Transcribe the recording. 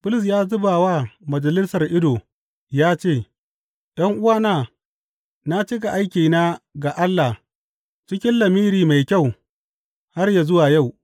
Bulus ya zuba wa Majalisar ido ya ce, ’Yan’uwana, na cika aikina ga Allah cikin lamiri mai kyau har yă zuwa yau.